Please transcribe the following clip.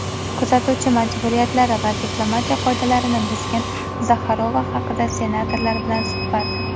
"kuzatuvchi" majburiyatlari va diplomatiya qoidalarini buzgan Zaxarova haqida – Senatorlar bilan suhbat.